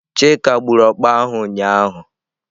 Chika gburu ọkpa ahụ ụnyahụ.